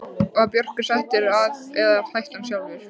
Var Börkur settur af eða hætti hann sjálfur?